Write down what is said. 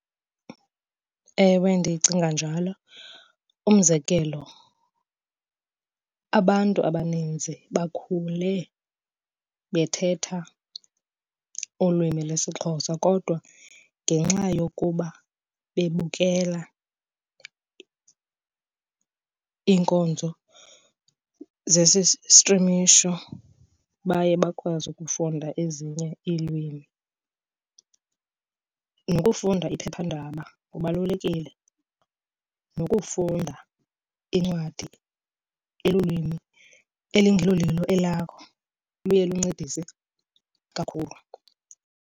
Ewe, ndicinga njalo. Umzekelo, abantu abaninzi bakhule bethetha ulwimi lesiXhosa kodwa ngenxa yokuba bebukela iinkonzo zesi strimisho baye bakwazi ukufunda ezinye iilwimi. Nokufunda iphephandaba kubalulekile. Nokufunda incwadi elulwimi elingelolilo elakho luye luncedise kakhulu.